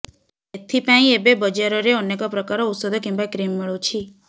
ଏଥିପାଇଁ ଏବେ ବଜାରରେ ଅନେକ ପ୍ରକାର ଔଷଧ କିମ୍ୱା କ୍ରିମ୍ ମିଳୁଛି